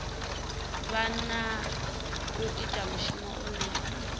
hana u ita mushumo une